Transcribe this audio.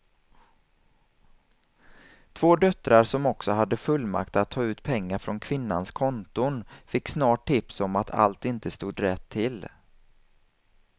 Två döttrar som också hade fullmakt att ta ut pengar från kvinnans konton fick snart tips om att allt inte stod rätt till.